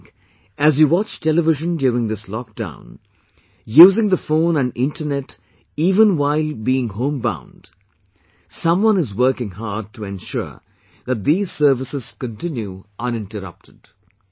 Just think, as you watch television during this lock down, using the phone and internet even while being home bound, someone is working hard to ensure that these services continue uninterrupted